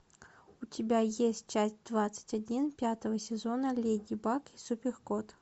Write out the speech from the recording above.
у тебя есть часть двадцать один пятого сезона леди баг и супер кот